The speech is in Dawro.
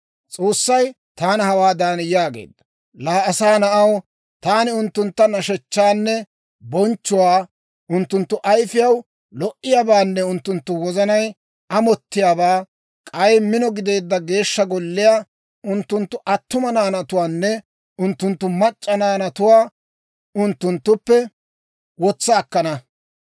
S'oossay taana hawaadan yaageedda; «Laa asaa na'aw, taani unttunttu nashshechchaanne bonchchuwaa, unttunttu ayifiyaw lo"iyaabaanne unttunttu wozanay amottiyaabaa, k'ay mino gideedda Geeshsha Golliyaa, unttunttu attuma naanatuwaanne unttunttu mac'c'a naanatuwaa unttunttuppe wotsa akkana.